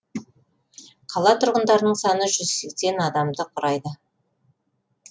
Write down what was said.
қала тұрғындарының саны жүз сексен адамды құрайды